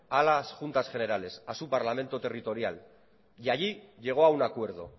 a las juntas generales a su parlamento territorial y allí llegó a un acuerdo